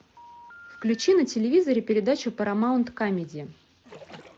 включи на телевизоре передачу парамаунт камеди